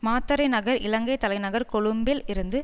மாத்தறை நகர் இலங்கை தலைநகர் கொழும்பில் இருந்து